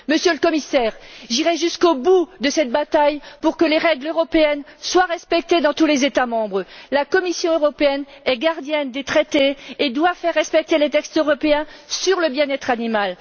Monsieur le Commissaire, j'irai jusqu'au bout de cette bataille pour que les règles européennes soient respectées dans tous les États membres. La Commission européenne est gardienne des traités et doit faire respecter les textes européens sur le bien être animal.